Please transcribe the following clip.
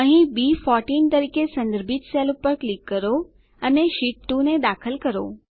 અહીં બી14 તરીકે સંદર્ભિત સેલ પર ક્લિક કરો અને શીટ 2 ને દાખલ કરો